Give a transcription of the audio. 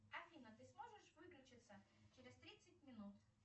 афина ты сможешь выключиться через тридцать минут